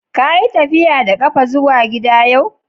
Ka yi tafiya da kafa zuwa gida yau?